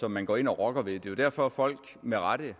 som man går ind og rokker ved det er jo derfor folk